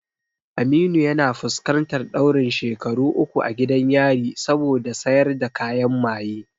Aminu yana fuskantar ɗaurin shekaru uku a gidan yari saboda sayar da kayan maye.